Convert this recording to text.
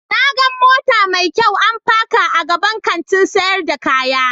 Na gan mota mai kyau an paka a gaban Kantin sayar da kaya.